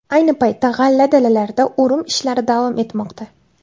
Ayni paytda g‘alla dalalarida o‘rim ishlari davom etmoqda.